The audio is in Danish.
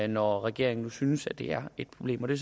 når regeringen nu synes at det er et problem det